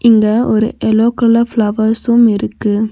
இங்க ஒரு yellow colour ஃபிளவர்ஸ்ஸும் இருக்கு.